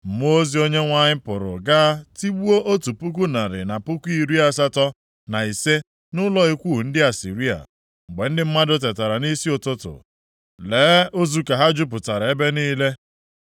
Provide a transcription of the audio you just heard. Mmụọ ozi Onyenwe anyị pụrụ gaa tigbuo otu puku narị na puku iri asatọ na ise nʼụlọ ikwu ndị Asịrịa. Mgbe ndị mmadụ tetara nʼisi ụtụtụ, lee, ozu ka ha jupụtara ebe niile.